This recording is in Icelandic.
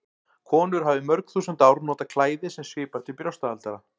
Konur hafa í mörg þúsund ár notað klæði sem svipar til brjóstahaldara.